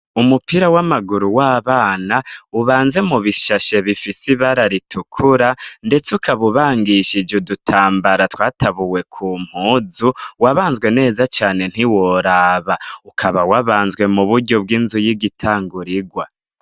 Umupira w'amaguru w'abana, ubanze mu bishashe bifise ibara ritukura, ndetse ukaba ubangishije udutambara twatabuwe ku mpuzu, wabanzwe neza cane ntiworaba. ukaba wabanzwe mu buryo bw'inzu y'igitangurigwa.